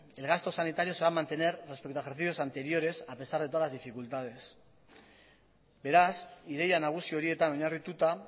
el gasto sanitario se va a mantener respecto a ejercicios anteriores a pesar de todas las dificultades beraz ideia nagusi horietan oinarrituta